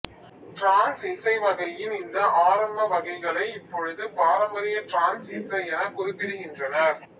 trans இசை வகையின் இந்த ஆரம்ப வகைகளை இப்போது பாரம்பரிய டிரான்ஸ் இசை எனக் குறிப்பிடுகின்றனர்